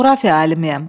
coğrafiya alimiyəm.